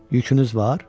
Yükünüz var?